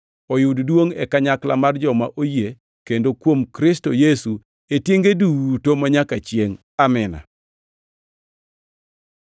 oyud duongʼ e kanyakla mar joma oyie kendo kuom Kristo Yesu e tienge duto manyaka chiengʼ. Amin.